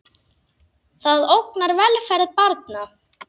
Það ógnar velferð barna.